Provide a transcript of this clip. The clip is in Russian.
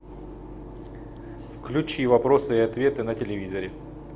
включи вопросы и ответы на телевизоре